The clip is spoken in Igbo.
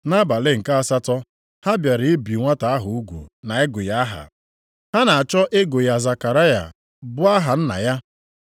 Nʼabalị nke asatọ ha bịara ibi nwata ahụ ugwu na ịgụ ya aha. Ha na-achọ ịgụ ya Zekaraya bụ aha nna ya,